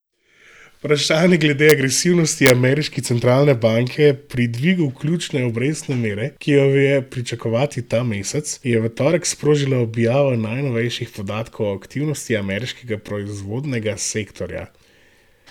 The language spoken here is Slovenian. Vprašanje glede agresivnosti ameriške centralne banke pri dvigu ključne obrestne mere, ki jo je pričakovati ta mesec, je v torek sprožila objava najnovejših podatkov o aktivnosti ameriškega proizvodnega sektorja.